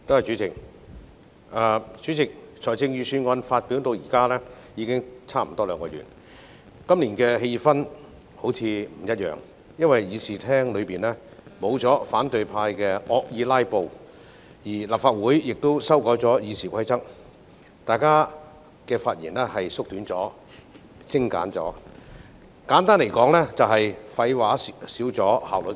代理主席，財政預算案發表至今已接近兩個月，今年辯論的氣氛似乎不一樣，因為議事堂上沒有反對派惡意"拉布"，立法會《議事規則》亦已修改，大家的發言時間縮短了，發言也比較精簡，簡單來說是廢話減少，效率提高。